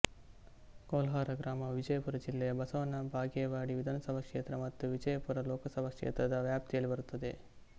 ಕೊಲ್ಹಾರ ಗ್ರಾಮವು ವಿಜಯಪುರ ಜಿಲ್ಲೆಯ ಬಸವನ ಬಾಗೇವಾಡಿ ವಿಧಾನಸಭಾ ಕ್ಷೇತ್ರ ಮತ್ತು ವಿಜಯಪುರ ಲೋಕಸಭಾ ಕ್ಷೇತ್ರ ದ ವ್ಯಾಪ್ತಿಯಲ್ಲಿ ಬರುತ್ತದೆ